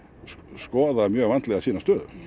skoða mjög vandlega sína stöðu